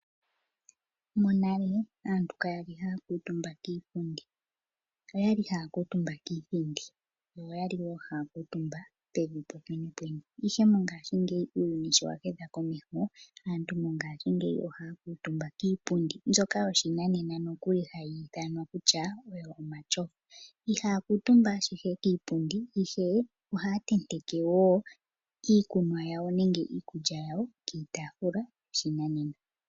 Monale aantu kaya li haya kuutumba kiipundi, oyali haya kuutumba kiithindi, yo oyali wo haya kuutumba pevi popwene pwene. Ihe mongashingeyi uuyuni sho wahedha komesho, aantu mongashingeyi ohaya kuutumba kiipundi mbyoka yoshinanena nokuli hayi ithanwa kutya oyo omashofa. Ihaya kuutumba ashike kiipundi ihe ohaya tenteke wo iikunwa yawo nenge iikulya yawo kiitafula yoshinanena.